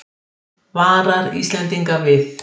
Varar Íslendinga við